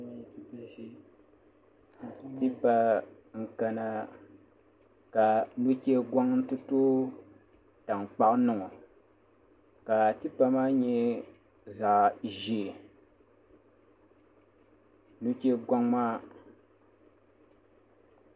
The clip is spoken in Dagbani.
Tipa n kana ka nuchɛ goŋ ti tooi tankpaɣu ni ŋo ka tipa maa nyɛ zaɣ ʒiɛ nuchɛ goŋ maa